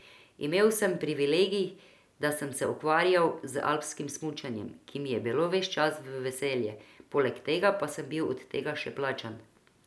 Imel sem privilegij, da sem se ukvarjal z alpskim smučanjem, ki mi je bilo ves čas v veselje, poleg tega pa sem bil od tega še plačan.